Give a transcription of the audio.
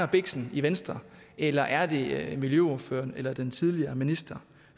biksen i venstre eller er det miljøordføreren eller den tidligere minister